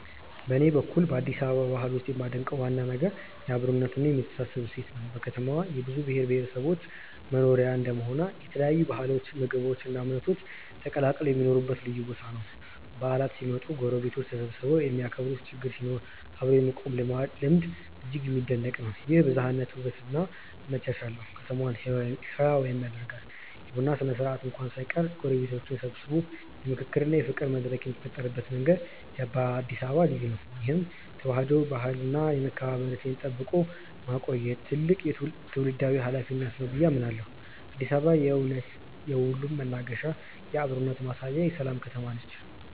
በኔ በኩል በአዲስ አበባ ባህል ውስጥ የማደንቀው ዋና ነገር የአብሮነትና የመተሳሰብ እሴት ነው። ከተማዋ የብዙ ብሔረሰቦች መኖሪያ እንደመሆኗ የተለያዩ ባህሎች ምግቦች እና እምነቶች ተቀላቅለው የሚኖሩበት ልዩ ቦታ ነው። በዓላት ሲመጡ ጎረቤቶች ተሰባስበው የሚያከብሩበት ችግር ሲኖር አብሮ የመቆም ልማድ እጅግ የሚደነቅ ነው። ይህ የብዝሃነት ውበት እና መቻቻል ነው ከተማዋን ህያው የሚያደርጋት። የቡና ስነ-ስርዓት እንኳን ሳይቀር ጎረቤትን ሰብስቦ የምክክርና የፍቅር መድረክ የሚፈጥርበት መንገድ በአዲስ አበባ ልዩ ነው። ይህን የተዋህዶ ባህልና የመከባበር እሴት ጠብቆ ማቆየት ትልቅ ትውልዳዊ ኃላፊነት ነው ብዬ አምናለሁ። አዲስ አበባ በእውነት የሁሉም መናገሻ፣ የአብሮነት ማሳያና የሰላም ከተማ ነች።